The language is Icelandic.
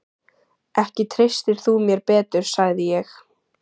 Ekki treystir þú mér betur, sagði ég.